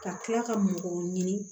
Ka kila ka mɔgɔw ɲini